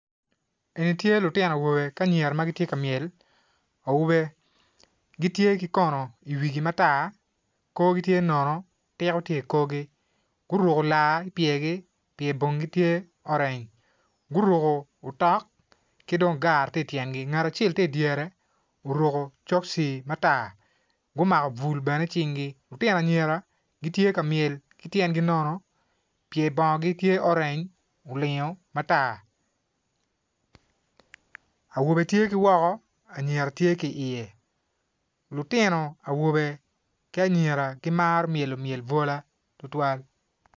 En tye lutino awobe ki anyira matye ka mywel, awobe gitye ki kono i wigi matar korgi tye nono tiko tye i korgi gurko lar ipyer gi pyer bongo tye orange gurko otok kidong gar tye ityengi ngat acel tye i dyere oruko soksi matar gumako bul bene i cing gi lutino anyira gitye kamyel kityengi nono pyer bongogi tye orange olingo matar awobe tye ki woko anyira tye i ye lutino awobe ki anyira kimaro myelo myel bwola tutwal.